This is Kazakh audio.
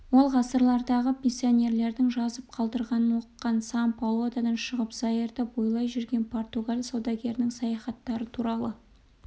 ол ғасырлардағы миссионерлердің жазып қалдырғандарын оқыған сан-паолодан шығып заирды бойлай жүрген португал саудагерлерінің саяхаттары туралы